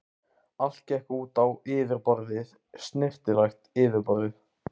Allt gekk út á yfirborðið, snyrtilegt yfirborðið.